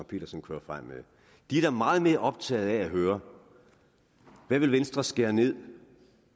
pedersen kører frem med de er da meget mere optaget af at høre hvad vil venstre skære ned